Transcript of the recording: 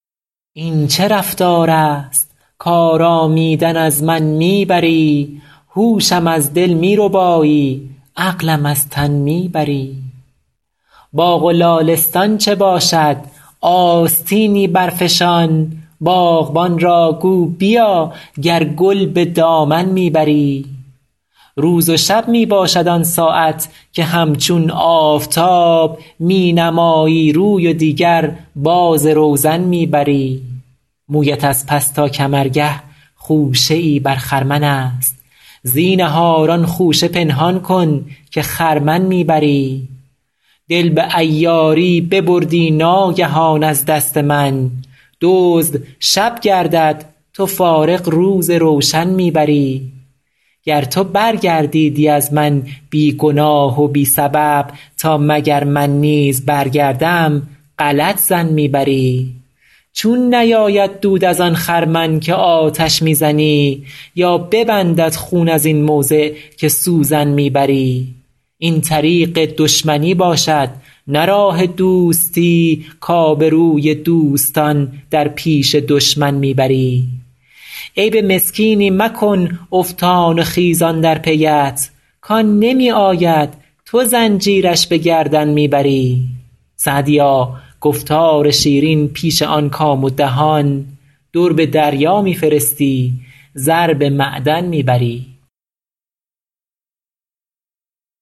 این چه رفتار است کآرامیدن از من می بری هوشم از دل می ربایی عقلم از تن می بری باغ و لالستان چه باشد آستینی برفشان باغبان را گو بیا گر گل به دامن می بری روز و شب می باشد آن ساعت که همچون آفتاب می نمایی روی و دیگر باز روزن می بری مویت از پس تا کمرگه خوشه ای بر خرمن است زینهار آن خوشه پنهان کن که خرمن می بری دل به عیاری ببردی ناگهان از دست من دزد شب گردد تو فارغ روز روشن می بری گر تو برگردیدی از من بی گناه و بی سبب تا مگر من نیز برگردم غلط ظن می بری چون نیاید دود از آن خرمن که آتش می زنی یا ببندد خون از این موضع که سوزن می بری این طریق دشمنی باشد نه راه دوستی کآبروی دوستان در پیش دشمن می بری عیب مسکینی مکن افتان و خیزان در پی ات کآن نمی آید تو زنجیرش به گردن می بری سعدیا گفتار شیرین پیش آن کام و دهان در به دریا می فرستی زر به معدن می بری